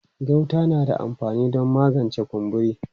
Gauta na da amfani don magance kumburi.